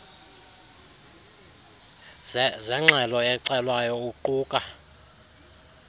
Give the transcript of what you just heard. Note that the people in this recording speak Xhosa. zengxelo ecelwayo uquka